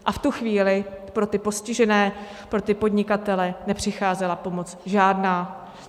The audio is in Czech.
A v tu chvíli pro ty postižené, pro ty podnikatele, nepřicházela pomoc žádná.